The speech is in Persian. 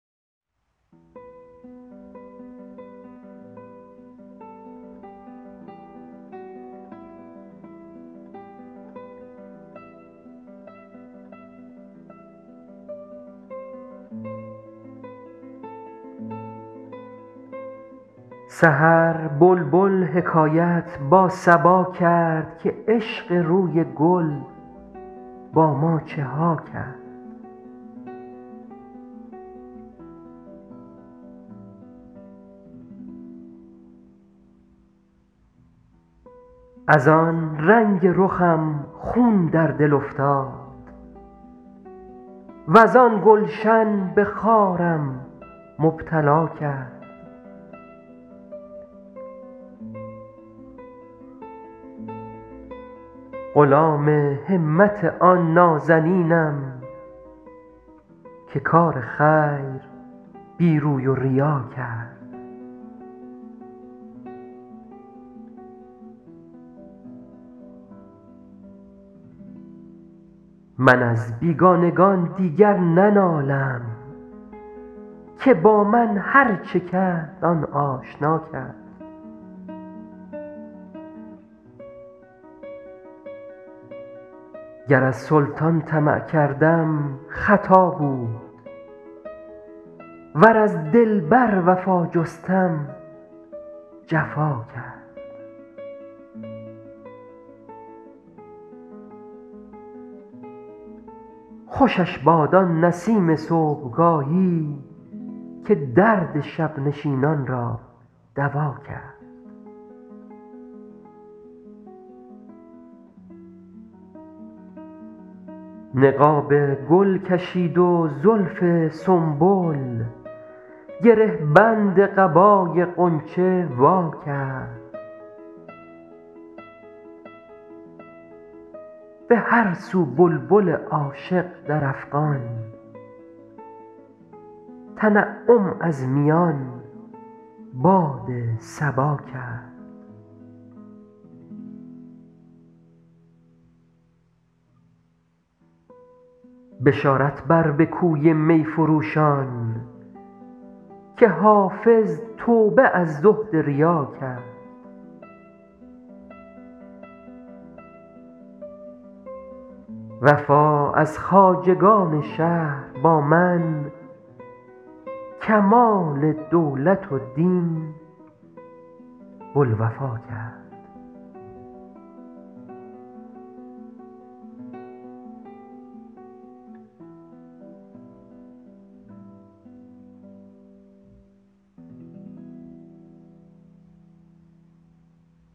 سحر بلبل حکایت با صبا کرد که عشق روی گل با ما چه ها کرد از آن رنگ رخم خون در دل افتاد وز آن گلشن به خارم مبتلا کرد غلام همت آن نازنینم که کار خیر بی روی و ریا کرد من از بیگانگان دیگر ننالم که با من هرچه کرد آن آشنا کرد گر از سلطان طمع کردم خطا بود ور از دلبر وفا جستم جفا کرد خوشش باد آن نسیم صبحگاهی که درد شب نشینان را دوا کرد نقاب گل کشید و زلف سنبل گره بند قبای غنچه وا کرد به هر سو بلبل عاشق در افغان تنعم از میان باد صبا کرد بشارت بر به کوی می فروشان که حافظ توبه از زهد ریا کرد وفا از خواجگان شهر با من کمال دولت و دین بوالوفا کرد